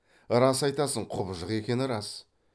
рас айтасың құбыжық екені рас